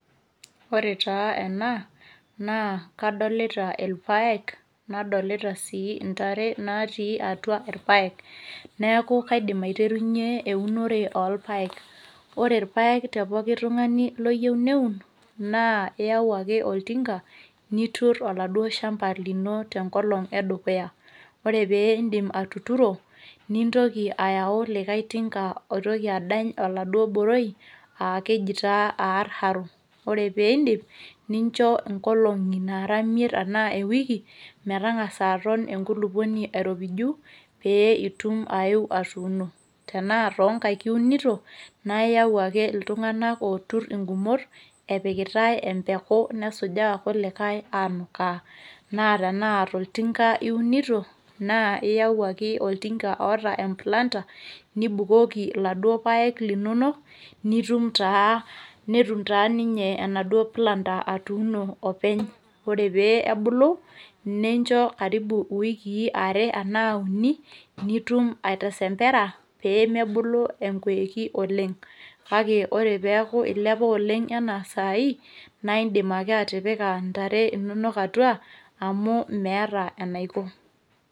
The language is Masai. ore taa ena naa kadolita irpaek, nadolita sii ntare natii atua rpaek. naa kaidim aiterunye eunore oorpaek, ore irpaek te poki tungani oyieu neun naa iyau ake oltinga, nitur olauo shampa lino tenkolong edukya. ore pee idim atuturo, nintoki ayau likae tinga oitoki aadany oladuoo boroi aa keji taa aar haru. ore pee iidip nincho nkolongi imiet enaa ewiki metangasa aton, enkulupuoni airopiju, pee itum ayeu atuuno. tenaa toonkaik iunito naa iyau ake iltunganak ootur ingumot epikitae empeku nesujaa irkulikae anukaa, na tenaa toltunga iunito, iyau ake oltunga oota e planter niiibukoki iladuo paek linonok, netum taa ninye enaduoo planter atuuno openy ,ore pee ebulu, nincho karibu iwiki are anaa uni. nitum atesempera pee mebulu, enkoiki oleng. kake ore pee eeku ilepa oleng anaa sai naa idim ake atipika ntare inonok atua amu meeta enaiko.